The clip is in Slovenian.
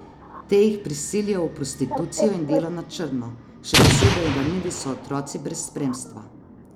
Te jih prisilijo v prostitucijo in delo na črno, še posebej ranljivi so otroci brez spremstva.